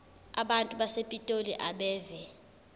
abantu basepitoli abeve